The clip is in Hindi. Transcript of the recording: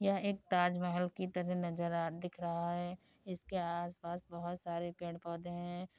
यह एक ताज महल की तरह नजर आ रहा दिख रहा है। इसके आस पास बहुत सारे पेड़ पौधे हैं।